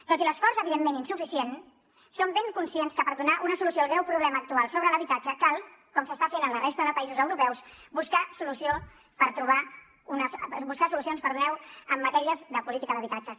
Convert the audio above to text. tot i l’esforç evidentment insuficient som ben conscients que per donar una solució al greu problema actual sobre l’habitatge cal com s’està fent en la resta de països europeus buscar solucions en matèria de política d’habitatges